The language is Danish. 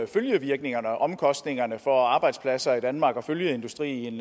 følgevirkningerne og omkostningerne for arbejdspladser i danmark og følgeindustrien